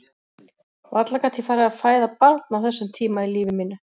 Varla gat ég farið að fæða barn á þessum tíma í lífi mínu.